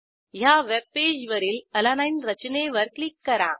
ह्या वेबपेजवरील अलानीने रचनेवर क्लिक करा